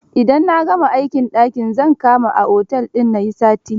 Idan na gama aikin, daki zan kama a otel na yi sati.